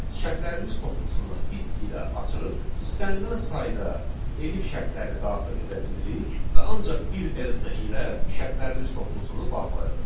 Şərtlərimiz toplusunu if ilə açırıq, istənilən sayda elif şərtlərini daxil edə bilirik və ancaq bir else ilə şərtlərimiz toplusunu bağlayırıq.